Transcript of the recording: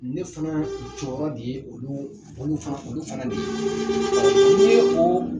Ne fana jɔyɔrɔ de ye olu olu fana olu fana de ye ne ko